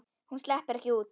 Hún sleppur ekki út.